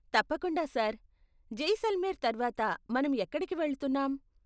తప్పకుండా సార్, జైసల్మేర్ తర్వాత మనం ఎక్కడికి వెళ్తున్నాం?